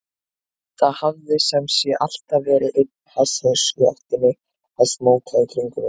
Það hafði sem sé alltaf verið einn hasshaus í ættinni að smóka í kringum mig.